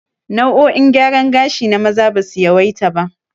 Hairstyles for men are few